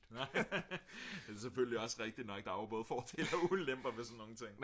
det er selvfølgelig også rigtigt nok der er jo både fordele og ulemper ved sådan nogle ting